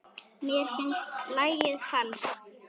Mér finnst lagið falskt.